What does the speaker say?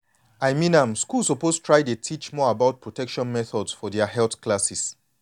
i mean am schools suppose try dey teach more about protection methods for their health classes.